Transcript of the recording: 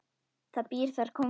Það býr þar kóngur.